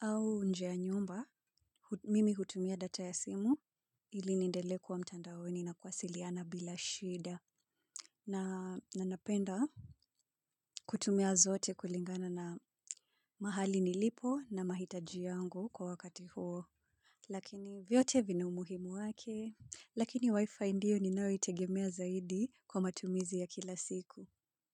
au nje ya nyumba, mimi hutumia data ya simu ili niendelee kuwa mtandaoni na kuwasiliana bila shida. Na napenda kutumia zote kulingana na mahali nilipo na mahitaji yangu kwa wakati huo. Lakini vyote vina umuhimu wake. Lakini wi-fi ndio ninayoitegemea zaidi kwa matumizi ya kila siku.